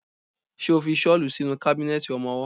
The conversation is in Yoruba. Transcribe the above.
Ṣo fi ṣọ́lù sínú kábínẹ̀tì ọmọwọ́?